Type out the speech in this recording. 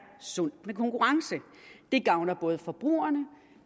sundt med konkurrence det gavner både forbrugerne